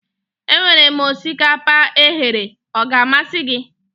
Emere m osikapa eghere, ọ ga-amasị gị?